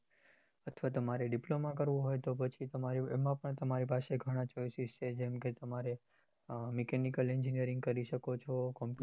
અથવા તમારે diploma કરવું હોય તો પછી તમે એમાં પણ તમારે ગણા choices છે જેમ કે તમારે mechanical engineering કરી શકો છો